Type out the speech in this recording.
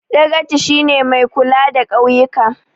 Dagaci shi ne mai kula da ƙauyika